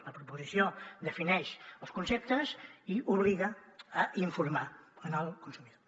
la proposició defineix els conceptes i obliga a informar el consumidor